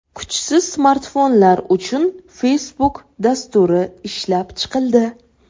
Kuchsiz smartfonlar uchun Facebook dasturi ishlab chiqildi.